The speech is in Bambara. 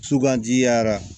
Sugandi yara